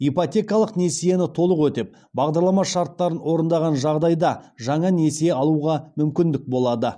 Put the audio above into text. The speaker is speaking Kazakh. ипотекалық несиені толық өтеп бағдарлама шарттарын орындаған жағдайда жаңа несие алуға мүмкіндік болады